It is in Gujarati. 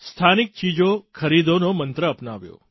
સ્થાનિક ચીજો ખરીદોનો મંત્ર અપનાવ્યો